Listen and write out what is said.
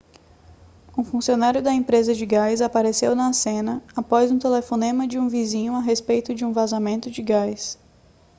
um funcionário da empresa de gás apareceu na cena após o telefonema de um vizinho a respeito de um vazamento de gás